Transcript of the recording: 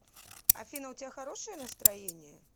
афина у тебя хорошее настроение